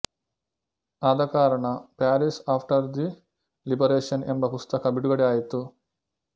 ಆದಕಾರಣ Paris after the liberation ಎಂಬ ಪುಸ್ತಕ ಬಿಡುಗಡೆ ಆಯಿತು